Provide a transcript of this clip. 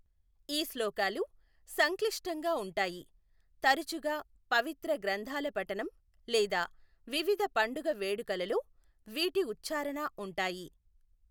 ఈ శ్లోకాలు సంక్లిష్టంగా ఉంటాయి, తరచుగా పవిత్ర గ్రంథాల పఠనం లేదా వివిధ పండుగ వేడుకలలో వీటి ఉచ్ఛారణ ఉంటాయి.